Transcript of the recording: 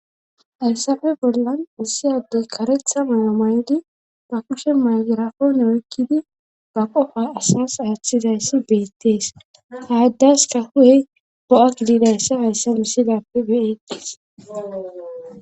hayssafe bollan ussi addey karetha mala maydi ba kushe maygirapoone oykkidi ba qofa asas aaththizayssi beettees haaddaska hu7ey go7a gidiidayssa hayssa misilappe beettees